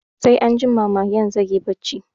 Sai anjima magen zai yi barci